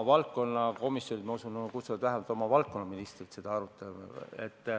Valdkonnakomisjonid, ma usun, kutsuvad vähemalt oma valdkonna ministri seda arutama.